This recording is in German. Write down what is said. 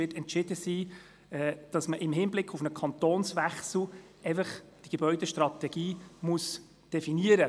Dies muss er so oder so tun, egal wie die Kantonszugehörigkeit Moutiers dereinst entschieden sein wird.